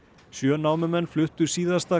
sjö námumenn fluttu síðasta